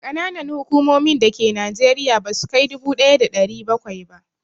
Ƙananan hukumomin da ke Najeriya ba sukai dubu ɗaya da ɗari bakwai ba